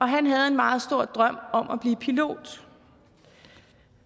han havde en meget stor drøm om at blive pilot